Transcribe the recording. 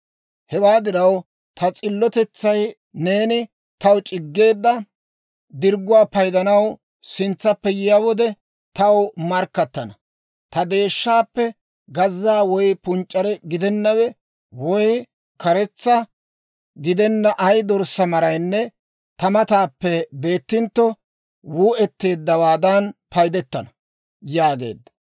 Hewaa diraw ta s'illotetsay neeni taw c'iggeedda dirgguwaa paydanaw sintsappe yiyaa wode, taw markkattana; ta deeshshaappe gazza woy punc'c'are gidennawe woy karetsa gidenna ay dorssaa maraynne ta matan beettintto, wuu"etteeddawaadan payddettana» yaageedda.